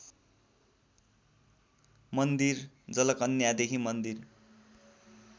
मन्दिर जलकन्यादेखि मन्दिर